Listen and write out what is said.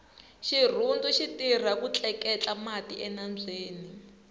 xirhundu xitirha ku tleketla mati enambyeni